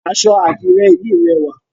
Aṣọ Àdirẹ yìí rẹwà.